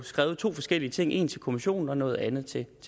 skrevet to forskellige ting en til kommissionen og noget andet til